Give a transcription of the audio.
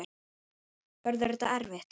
Verður þetta erfitt?